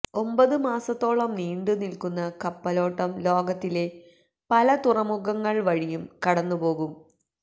ഒമ്പത് മാസത്തോളം നീണ്ടു നിൽക്കുന്ന കപ്പലോട്ടം ലോകത്തിലെ പല തുറമുഖങ്ങൾ വഴിയും കടന്നുപോകം